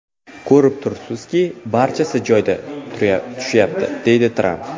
Ko‘rib turibsizki, barchasi joyiga tushyapti”, deydi Tramp.